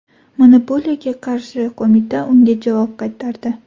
Monopoliyaga qarshi qo‘mita unga javob qaytardi.